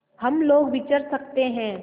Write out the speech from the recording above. हम लोग विचर सकते हैं